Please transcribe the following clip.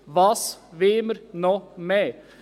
Was wollen wir noch mehr?